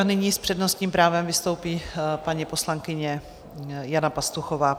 A nyní s přednostním právem vystoupí paní poslankyně Jana Pastuchová.